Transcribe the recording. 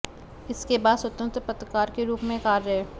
इसके बाद स्वतंत्र पत्रकार के रूप में कार्य